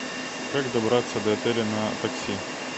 как добраться до отеля на такси